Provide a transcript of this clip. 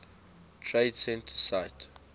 trade center site